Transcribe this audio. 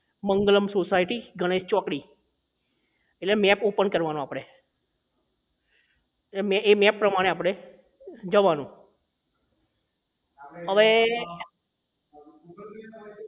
Mangalam society Ganesh ચોકડી એટલે map open કરવાનો આપણે એ એ map પ્રમાણે આપણે જવાનું અવે